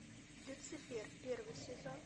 люцифер первый сезон